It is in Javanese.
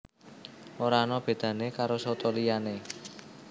Ora ana bedané karo soto liyané